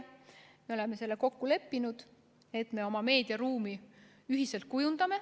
Me oleme kokku leppinud, et kujundame oma meediaruumi ühiselt.